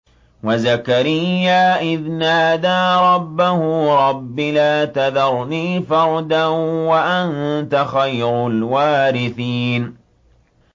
وَزَكَرِيَّا إِذْ نَادَىٰ رَبَّهُ رَبِّ لَا تَذَرْنِي فَرْدًا وَأَنتَ خَيْرُ الْوَارِثِينَ